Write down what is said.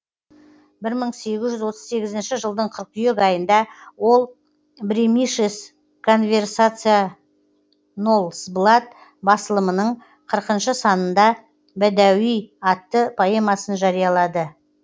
бір мың сегіз жүз отыз сегізінші жылдың қыркүйек айында ол бремишес конверсация нолсблатт басылымның қырқыншы санында бәдәуи атты поэмасын жариялады